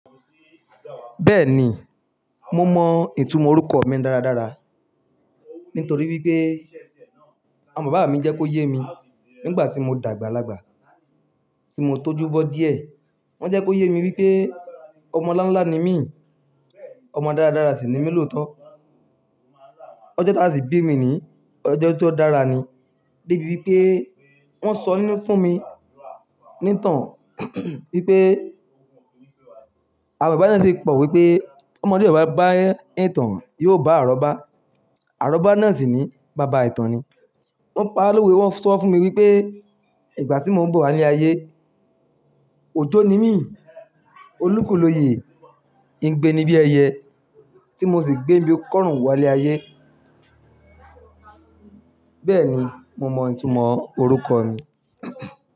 Bẹ́ẹ̀ni, mo mọ ìtumọ̀ orúkọ mi dára dára, nítorí wípé àwọn bàbá mi jẹ́ kó yé mi nígbàtí mo dàgbàlagbà tí mo tójú bọ́ díẹ̀. Wọ́n jẹ́ kó yé mi wípé ọmọ láńlá ni mí, ọmọ dára dára sì ni mí lóòótọ́. Ọjọ́ tá sì bí mi ni, ọjọ́ tó dára ni. Débi wípé wọ́n sọ nú fún mi ní ìtàn wípé àwọn bàbá náà sì pọ̀ wípé ọmodẹ̀ ọ ba bá ìtàn yóò bá àróbá. Àrọ́bá náà sì ni bàbá ìtàn ni. Wọ́n pa àlówe wọ́n sọ fún mi wípé ìgbàtí mo ń bọ̀ wálé ayé, òjò ni mí, olúkúlòyè ń gbé níbí ẹyẹ tí mo sì gbé níbí kọ́rùn wálé ayé. Bẹ́ẹ̀ni, mo mọ ìtumọ̀ orúkọ mi.